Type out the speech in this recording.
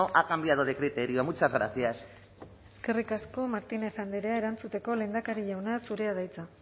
ha cambiado de criterio muchas gracias eskerrik asko martínez andrea erantzuteko lehendakari jauna zurea da hitza